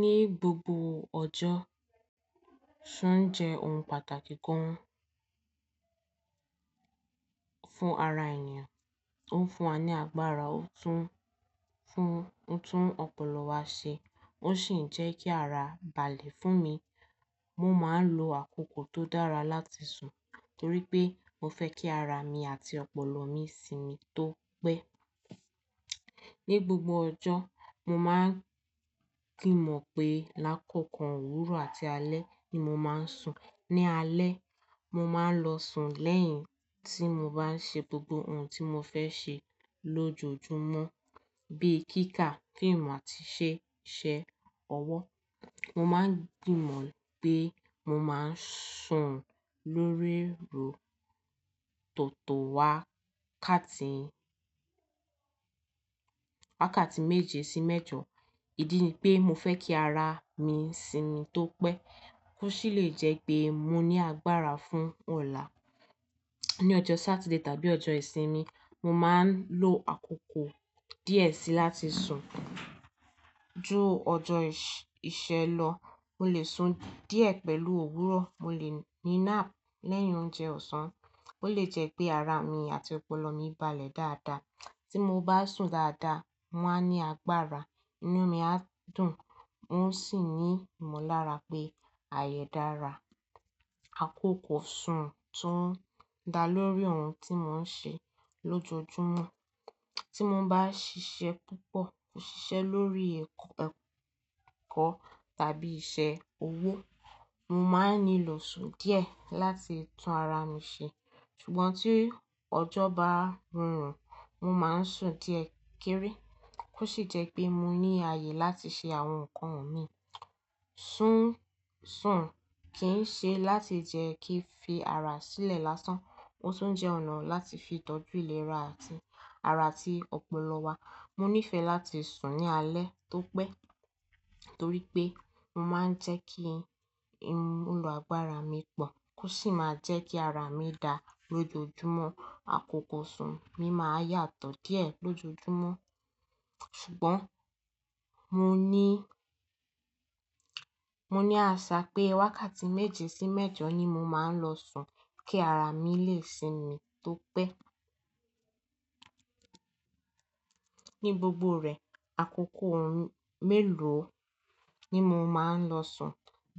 Ní gbogbo ọjọ́, sùn jẹ́ ohun pàtàkì gan fún ara ènìyàn. Ó ń fún wa ní agbára, ó tún ń fún, ó tún ọpọlọ wa ṣe, ó sì ń jẹ́ kí ara balẹ̀ fún mi. Mo máa ń lo àkókò tó dára láti sùn torí pé mo fẹ́ kí ara mi àti ọpọlọ mi sinmi tó pẹ́. Ní gbogbo ọjọ́, mo máa ń ki n mọ̀ pé lágòó kan òwúrọ̀ àti alẹ́ ni mo máa ń sùn. Ni alẹ́, mo máa ń lọ sùn lẹ́yìn tí mo bá ń ṣe gbogbo ohun tí mo fẹ́ ṣe lójoojúmọ́, bíi kíkà, fíìmù àti ṣé, ṣé ọwọ́. Mo máa ń gbìmọ̀ pé mo máa ń sùn lórí roò tòtò wá káàkà tí, wákàtí méje sí mẹ́jọ. Ìdí ni pé mo fẹ́ kí ara mi sinmi tó pẹ́, kó sì lè jẹ́ pé mo ní agbára fún ọ̀la. Ní ọjọ́ Saturday tàbí ọjọ́ ìsinmi, mo máa ń lo àkókò díẹ̀ sí láti sùn. Ju ọjọ́, ìṣe lọ, mo lè sun díẹ̀ pẹ̀lú òwúrọ̀, mo lè ní nap lẹ́yìn oúnjẹ ọ̀sán, ó lè jẹ́ pé ara mi àti ọpọlọ mi balẹ̀ dáadáa. Tí mo bá sùn dáadáa, mo máa ní agbára, inú mi á dùn, mó sì ní ìmọ̀lára pé ààyè dára. Àkókò sùn tún ń dá lórí ohun tí mo ń ṣe lójoojúmọ́. Tí mo bá ṣiṣẹ́ púpọ̀, mo ṣiṣẹ́ lórí ẹ̀kọ́, ẹ̀kọ́ tàbí iṣẹ́ owó, mo máa ń nílò sùn díẹ̀ láti tún ara mi ṣe. Ṣùgbọ́n tí ọjọ́ bá rùn, mo máa ń sùn díẹ̀ kéré, kó sì jẹ́ pé mo ní ààyè láti ṣe àwọn nǹkan mi. Sùn, sùn kì ń ṣe láti jẹ́ kí fi ara sílẹ̀ lásán, ó tún jẹ́ ọ̀nà láti fi tọ́jú ìlera àti ara àti ọpọlọ wa. Mo níìfẹ̀ láti sùn ní alẹ́ tó pẹ́ torí pé mo máa ń jẹ́ kí inú àgbára mi pọ̀, kó sì máa jẹ́ kí ara mi dá lójoojúmọ́. Àkókò sùn mi máa yàtọ̀ díẹ̀ lójoojúmọ́, ṣùgbọ́n mo ní, mo ní àṣà pé wákàtí méje sí mẹ́jọ ni mo máa ń lọ sùn kí ara mi lè sinmi tó pẹ́. Ní gbogbo rẹ̀, àkókò ọ̀rún mélòó ni mo máa ń lọ sùn